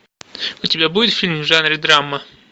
у тебя будет фильм в жанре драма